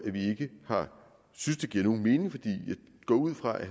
vi ikke synes det giver nogen mening jeg går ud fra at